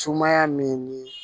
Sumaya min ni